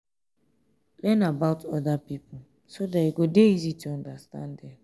learn about oda pipo so dat e go dey easy to understand dem